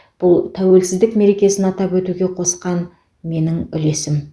бұл тәуелсіздік мерекесін атап өтуге қосқан менің үлесім